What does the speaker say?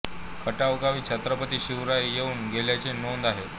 खटाव गावी छत्रपती शिवराय येऊन गेल्याचे नोंद आहे